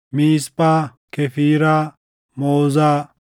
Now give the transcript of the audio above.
Miisphaa, Kefiiraa, Moozaa,